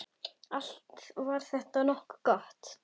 Allt var þetta nokkuð gott.